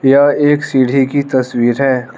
यह एक सीढ़ी की तस्वीर है।